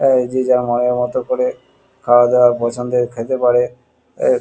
এই যে যার মনের মতো করে খাওয়াদাওয়ার পছন্দের খেতে পারে এ--